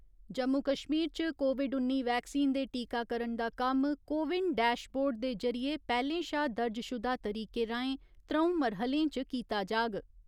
जम्मू कश्मीर च कोविड उन्नी वैक्सीन दे टीकाकरण दा कम्म कोविन डैशबोर्ड दे जरिये पैह्‌लें शा दर्जशुदा तरीके राहें त्र'ऊं मरह्‌लें च कीता जाग।